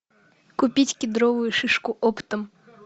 купить кедровую шишку оптом